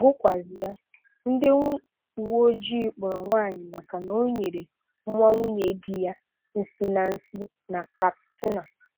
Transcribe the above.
Gụkwụazịa: Ndị uwe ojii kpụọrọ nwaanyị maka na ọ nyere nwa nwunye di ya nsị na nsị na Katsina.